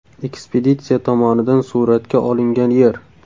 Ekspeditsiya tomonidan suratga olingan Yer.